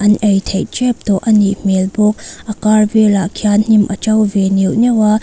an ei theih tep tawh a nih hmel bawk a kar velah khian hnim a to ve neuh neuh a.